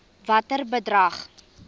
watter bedrag